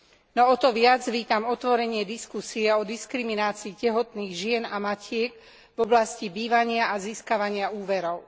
No o to viac vítam otvorenie diskusie o diskriminácii tehotných žien a matiek v oblasti bývania a získavania úverov.